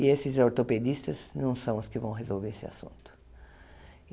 E esses ortopedistas não são os que vão resolver esse assunto.